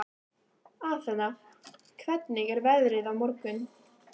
Athena, hvernig er veðrið á morgun?